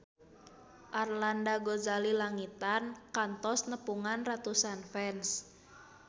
Arlanda Ghazali Langitan kantos nepungan ratusan fans